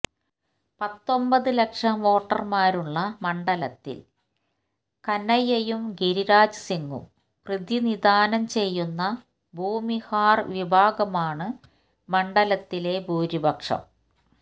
പത്തൊമ്പത് ലക്ഷം വോട്ടര്മാരുള്ള മണ്ഡലത്തില് കനയ്യയും ഗിരിരാജ് സിങും പ്രതിനിധാനം ചെയ്യുന്ന ഭൂമിഹാര് വിഭാഗമാണ് മണ്ഡലത്തിലെ ഭൂരിപക്ഷം